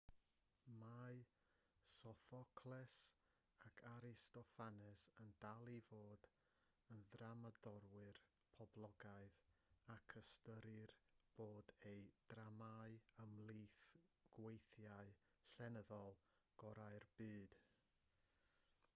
mae sophocles ac aristophanes yn dal i fod yn ddramodwyr poblogaidd ac ystyrir bod eu dramâu ymhlith gweithiau llenyddol gorau'r byd